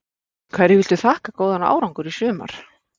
Hverju viltu þakka góðan árangur í sumar?